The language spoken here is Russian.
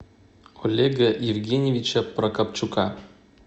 олега евгеньевича прокопчука